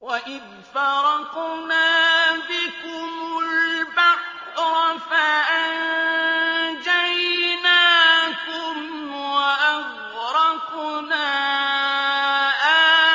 وَإِذْ فَرَقْنَا بِكُمُ الْبَحْرَ فَأَنجَيْنَاكُمْ وَأَغْرَقْنَا